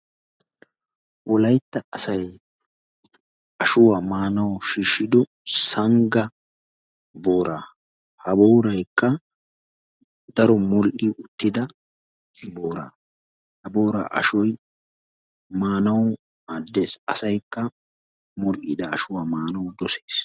Wolaytta asay ashuwaa maanawu shiishshido sangga boora. Ha booraykka daro modhdhi uttida boora, boora ashoy maanawu maaddees, asaykka medhdhi uttida ashuwa maanawu dossees.